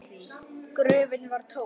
Gröfin var tóm!